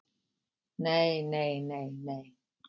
Nei nei nei nei.